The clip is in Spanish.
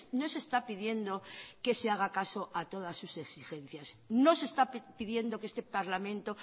no se está pidiendo que se haga caso a todas sus exigencias no se está pidiendo que este parlamento